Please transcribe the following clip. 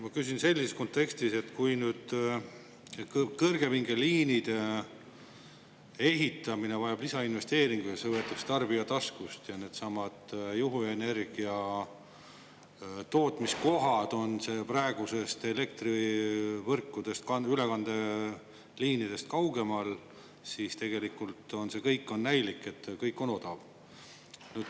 Ma küsin selles kontekstis, et kui kõrgepingeliinide ehitamine vajab lisainvesteeringut, sest needsamad juhuenergia tootmise kohad on praeguse elektrivõrgu ülekandeliinidest kaugemal, ja see võetakse tarbija taskust, siis tegelikult on see näilik, et kõik on odav.